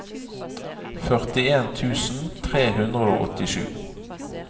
førtien tusen tre hundre og åttisju